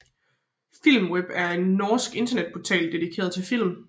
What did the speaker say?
Filmweb er en norsk internetportal dedikeret til film